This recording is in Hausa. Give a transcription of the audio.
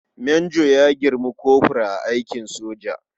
Manjo ya girmi kofur a aikin soja.